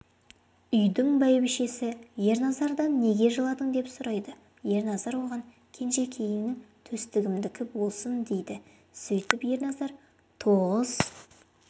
үйдің бәйбішесі ерназардан неге жыладың деп сұрайды ерназар оған кенжекейің төстігімдікі болсын дейді сөйтіп ерназар тоғыз